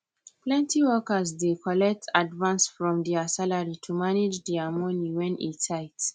plenty workers dey collect advance from dia salary to manage dia money when e tight